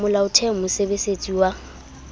a molaotheo a mosebesetsi wa